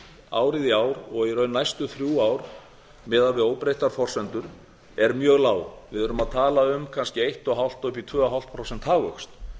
árið í ár og í raun næstu þrjú ár miðað við óbreyttar forsendur eru mjög lágar við erum að tala um kannski eins og hálft og upp í tveggja prósenta hagvöxt